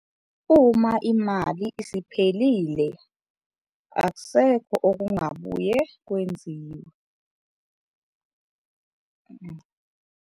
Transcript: Uma imali isiphelile akusekho okungabuye kwenziwe.